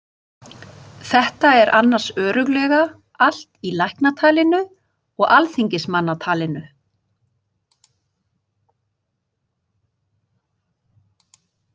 Þetta er annars örugglega allt í læknatalinu og alþingismannatalinu.